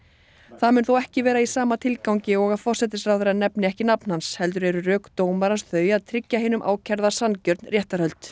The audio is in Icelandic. það mun þó ekki vera í sama tilgangi og að forsætisráðherrann nefni ekki nafn hans heldur eru rök dómarans þau að tryggja hinum ákærða sanngjörn réttarhöld